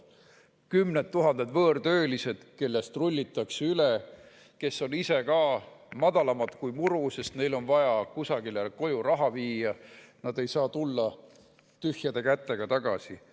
On kümneid tuhandeid võõrtöölisi, kellest rullitakse üle, kes on ise madalamad kui muru, sest neil on vaja koju raha viia, nad ei saa tühjade kätega tagasi minna.